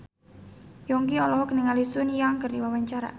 Yongki olohok ningali Sun Yang keur diwawancara